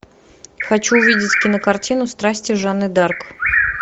хочу увидеть кинокартину страсти жанны дарк